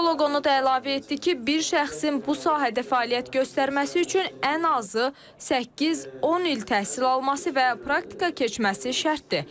Psixoloq onu da əlavə etdi ki, bir şəxsin bu sahədə fəaliyyət göstərməsi üçün ən azı səkkiz-on il təhsil alması və praktika keçməsi şərtdir.